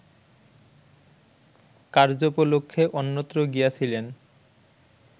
কার্য্যোপলক্ষে অন্যত্র গিয়াছিলেন